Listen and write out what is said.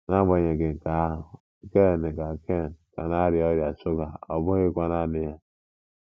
N'agbanyeghị nke ahụ, Ken ka Ken ka na-arịa ọrịa shuga, ọ bụghịkwa naanị ya.